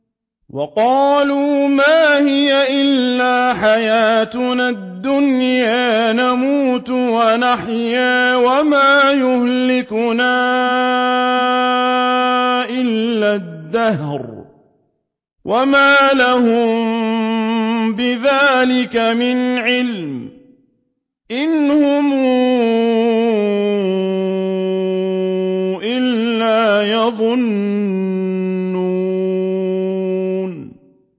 وَقَالُوا مَا هِيَ إِلَّا حَيَاتُنَا الدُّنْيَا نَمُوتُ وَنَحْيَا وَمَا يُهْلِكُنَا إِلَّا الدَّهْرُ ۚ وَمَا لَهُم بِذَٰلِكَ مِنْ عِلْمٍ ۖ إِنْ هُمْ إِلَّا يَظُنُّونَ